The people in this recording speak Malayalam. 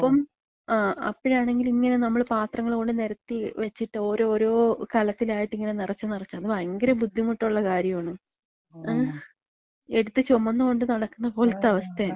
ആ. അപ്പം. അപ്പഴാണ് ഇങ്ങനെ നമ്മള് പാത്രങ്ങള് കൊണ്ടോയി നെരത്തി വെച്ചിട്ട് ഓരോരോ കലത്തിലായിട്ട് ഇങ്ങനെ നെറച്ച് നെറച്ച്, അത് ഭയങ്കര ബുദ്ധിമുട്ടുള്ള കാര്യാണ്. ങ്ഹേ. എട്ത്ത് ചൊമന്നോണ്ട് നടക്കണ പോലത്തെ അവസ്ഥാണ്.